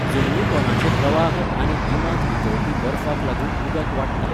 जमनीपोंदाचे प्रवाह आनी गिमांत वितळपी बर्फाक लागून उदक वाडटा.